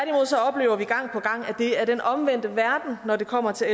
det er den omvendte verden når det kommer til